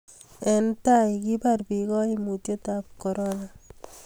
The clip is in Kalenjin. eng' tai, kibar biik kaimutietab korona